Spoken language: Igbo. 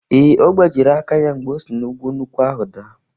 Ee, ọ gbajịrị aka ya mgbe o si n’ukwu nkwụ ahụ daa.